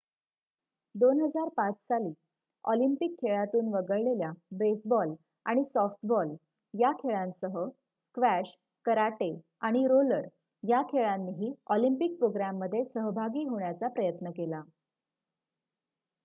२००५ साली ऑलिम्पिक खेळांतून वगळलेल्या बेसबॉल आणि सॉफ्टबॉल या खेळांसह स्क्वॅश कराटे आणि रोलर या खेळांनीही ऑलिम्पिक प्रोग्रॅममध्ये सहभागी होण्याचा प्रयत्न केला